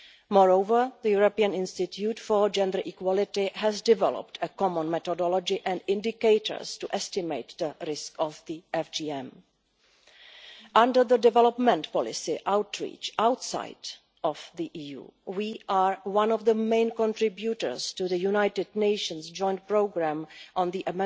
Moreover, the European Institute for Gender Equality has developed a common methodology and indicators to estimate the risk of FGM. Under the heading of development policy outreach outside the EU we are one of the main contributors to the United Nations Joint Programme on the